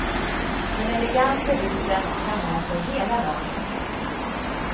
Den elegante ryssen drar med sig hela laget.